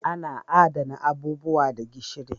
Ana Adana abubuwa da gishiri.